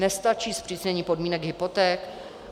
Nestačí zpřísnění podmínek hypoték?